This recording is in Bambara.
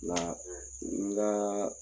W n daa